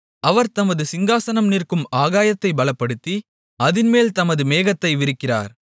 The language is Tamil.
அவர் தமது சிங்காசனம் நிற்கும் ஆகாயத்தை பலப்படுத்தி அதின்மேல் தமது மேகத்தை விரிக்கிறார்